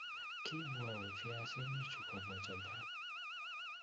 Kiibu awe viasinichu kobwa Japan?